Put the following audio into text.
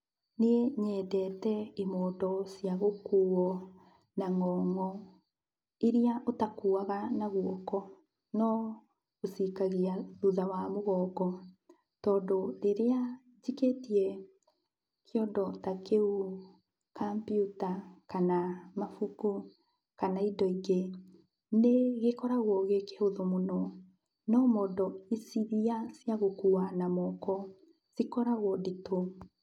Niĩ nyendete imondo ciagũkuo na ng'ong'o, irĩa ũtakuaga na guoko, no ũcikagia thutha wa mũgongo, tondũ rĩrĩa njikĩtie kĩondo ta kĩu kampiuta, kana mabuku, kana indo ingĩ, nĩgĩkoragwo gĩkĩhũthũ mũno, no mondo irĩa cia gũkua na moko cikoragwo nditũ.